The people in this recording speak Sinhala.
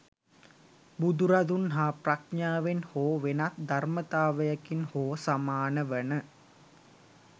බුදුරදුන් හා ප්‍රඥාවෙන් හෝ වෙනත් ධර්මතාවයකින් හෝ සමාන වන